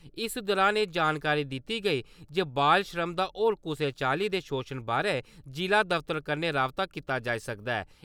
इस दौरान एह् जानकारी दित्ती गेई जे बाल श्रम दा होर कुसै चाल्ली दे शोशण बारे जिला दफ्तर कन्नै रावता कीता जाई सकदा ऐ।